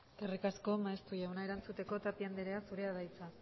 eskerrik asko maeztu jauna erantzuteko tapia anderea zurea da hitza